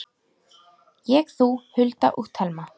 Ég, þú, Hulda og Telma.